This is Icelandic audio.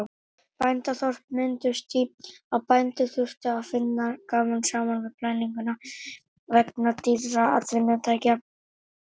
Bændaþorp mynduðust því að bændur þurftu að vinna saman við plæginguna vegna dýrra atvinnutækja.